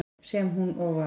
Sem hún og var.